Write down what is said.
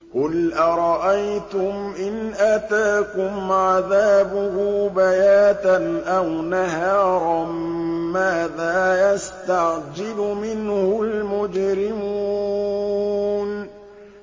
قُلْ أَرَأَيْتُمْ إِنْ أَتَاكُمْ عَذَابُهُ بَيَاتًا أَوْ نَهَارًا مَّاذَا يَسْتَعْجِلُ مِنْهُ الْمُجْرِمُونَ